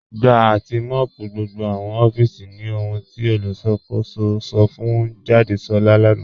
Gbà àti mọ́ọ̀pù gbogbo awọn òfíìsì ní òhùn tí olùṣakòsò sọ̀ fún Jàdésolá lánà.